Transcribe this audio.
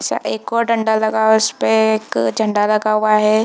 एक और दंड लगा है उस पे एक झंडा लगा हुआ है।